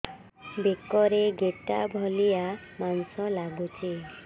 ବେକରେ ଗେଟା ଭଳିଆ ମାଂସ ଲାଗୁଚି